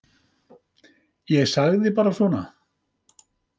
Ég sagði bara svona.